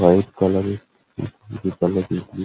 what colour -এর blue colour -এর এ--